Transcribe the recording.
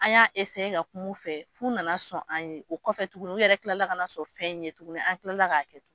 An y'a ka kum'u fɛ, f'u nana sɔn an ye, o kɔfɛ tuguni u yɛrɛ kilala ka na sɔn fɛn ye tuguni an kilala k'a kɛ tugun.